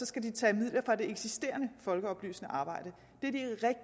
skal tage midler fra det eksisterende folkeoplysende arbejde